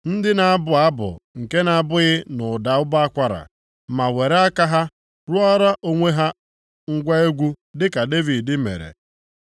Ndị na-abụ abụ nke na-abaghị nʼụda ụbọ akwara, ma were aka ha rụọra onwe ha ngwa egwu dịka Devid mere.